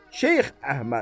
Şeyx Əhməd.